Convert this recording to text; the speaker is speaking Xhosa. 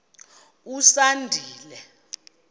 usandile